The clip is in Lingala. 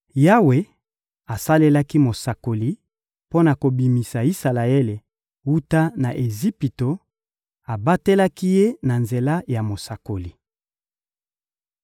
Yawe asalelaki mosakoli mpo na kobimisa Isalaele wuta na Ejipito, abatelaki ye na nzela ya mosakoli.